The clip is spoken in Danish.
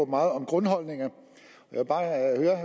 meget om grundholdninger